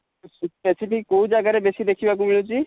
specific କୋଉ ଜାଗା ରେ ବେଶୀ ଦେଖିବାକୁ ମିଳୁଛି?